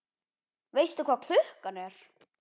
Veistu hvað klukkan er?